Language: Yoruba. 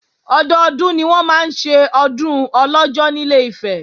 Ọdọdún ni wọ́n máa ń ṣe Ọdún Ọlọ́jọ́ ní Ilé-Ifẹ̀